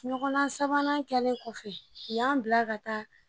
Ɲɔgɔndan sabanan kɛlen kɔfɛ u y'an bila ka taa